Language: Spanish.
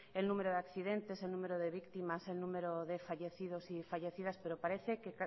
el número de accidentes el número de víctimas el número de fallecidos y fallecidas pero parece que